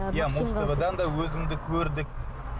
иә музтв дан да өзіңді көрдік